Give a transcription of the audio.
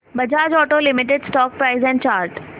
Bajaj auto limited stock price and chart